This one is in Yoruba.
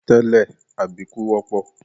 Tẹ́lẹ̀, àbíkú wọ́pọ̀.